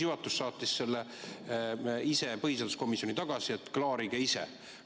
Juhatus saatis selle põhiseaduskomisjoni tagasi, et klaarige ise.